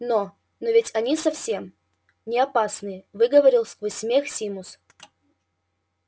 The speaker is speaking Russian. но но ведь они совсем неопасные выговорил сквозь смех симус